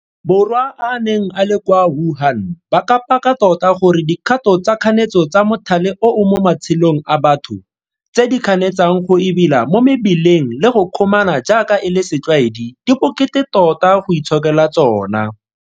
Borwa a a neng a le kwa Wuhan ba ka paka tota gore dikgato tsa kganetso tsa mothale oo mo matshelong a batho, tse di kganetsang go ebela mo mebileng le go kgomana jaaka e le setlwaedi di bokete tota go itshokela tsona.